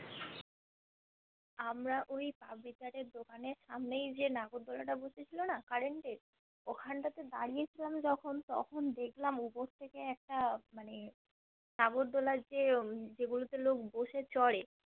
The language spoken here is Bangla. আমরা ওই এর দোকানের সামনেই যে নাগরদোলনা টা বসেছিল না current এর ওখানতাতে দাঁড়িয়ে ছিলাম যখোন তখোন দেখলাম উপর থেকে একটা মানে নাগরদোলনা যে যেইগুলো তে লোক বশে চড়ে